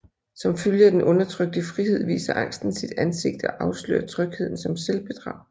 Som følge af den undertrykte frihed viser angsten sit ansigt og afslører trygheden som selvbedrag